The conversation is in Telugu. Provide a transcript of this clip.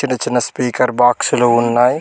డ చిన్న స్పీకర్ బాక్సులు ఉన్నాయ్.